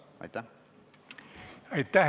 Aitäh!